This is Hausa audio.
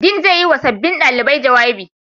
Dean zai yi wa sabbin ɗalibai jawabi.